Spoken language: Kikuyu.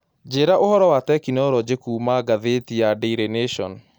Njĩĩra ũhoro wa tekinolonji kũũma gathiti ya daily nation